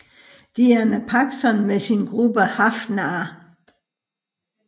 Diana Paxson med sin gruppe Hrafnar